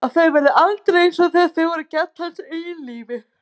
Að þau verði aldrei einsog þegar þau voru gædd hans eigin lífi.